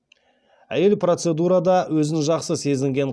әйел процедурада өзін жақсы сезінген